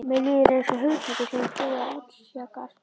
Mér líður einsog hugtaki sem búið er að útjaska.